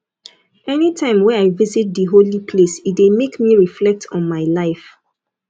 anytime wey i visit di holy place e dey make me reflect on my life